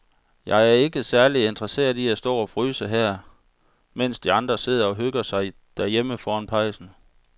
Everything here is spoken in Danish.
Jeg er ikke særlig interesseret i at stå og fryse her, mens de andre sidder og hygger sig derhjemme foran pejsen.